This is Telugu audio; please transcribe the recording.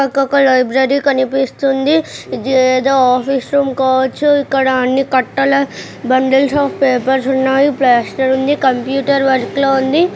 ఒక లైబ్రరీ కనిపిస్తుంది. ఇది ఏదో ఆఫీస్ రూమ్ కావచ్చు. ఇక్కడ అన్ని కట్టలా బండిల్సు పేపర్స్ కూడా ఉన్నాయి. ప్లాస్టర్ ఉంది. కంప్యూటర్ వర్క్ లో ఉంది.